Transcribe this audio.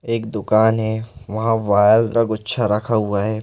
एक दुकान है वहाँ वायर का कुछ रखा हुआ है।